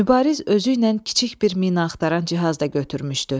Mübariz özü ilə kiçik bir mina axtaran cihaz da götürmüşdü.